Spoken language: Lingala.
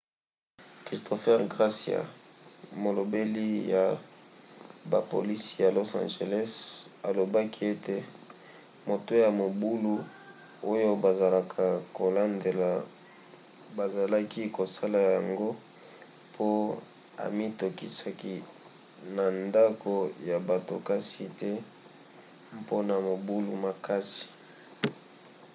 christopher garcia molobeli ya bapolisi ya los angeles alobaki ete moto ya mobulu oyo bazalaka kolandela bazalaki kosala yango po amikotisaki na ndako ya bato kasi te mpona mobulu makasi